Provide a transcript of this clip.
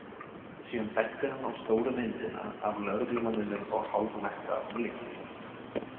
Síðan benti hann á stóru myndina, af lögreglumanninum og hálfnakta unglingnum.